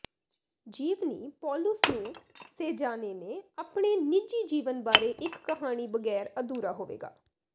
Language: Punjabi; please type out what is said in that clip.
ਜੀਵਨੀ ਪੌਲੁਸ ਨੂੰ ਸੇਜ਼ਾਨੇ ਨੇ ਆਪਣੇ ਨਿੱਜੀ ਜੀਵਨ ਬਾਰੇ ਇੱਕ ਕਹਾਣੀ ਬਗੈਰ ਅਧੂਰਾ ਹੋਵੇਗਾ